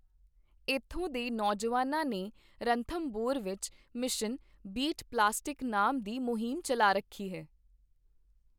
ਇੱਥੋਂ ਦੇ ਨੌਜਵਾਨਾਂ ਨੇ ਰਣਥਮਭੌਰ ਵਿੱਚ ਮਿਸ਼ਨ "ਬੀਟ ਪਲਾਸਟਿਕ" ਨਾਮ ਦੀ ਮੁਹਿੰਮ ਚੱਲਾ ਰੱਖੀ ਹੈ।